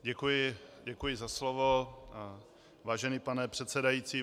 Děkuji za slovo, vážený pane předsedající.